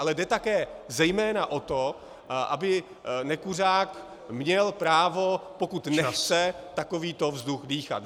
Ale jde také zejména o to, aby nekuřák měl právo , pokud nechce takovýto vzduch dýchat.